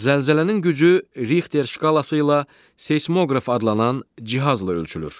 Zəlzələnin gücü Rixter şkalası ilə seismoqraf adlanan cihazla ölçülür.